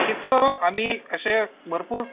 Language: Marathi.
तिथं आम्ही असे भरपूर